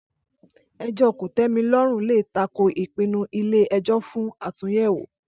Ẹjọ́ kòtẹ́milọ́rùn lè tako ìpinnu ilé ẹjọ́ fún àtúnyẹ̀wò